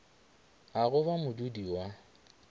a go ba modudi wa